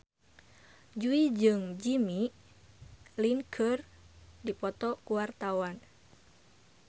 Jui jeung Jimmy Lin keur dipoto ku wartawan